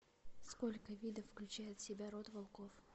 сколько видов включает в себя род волков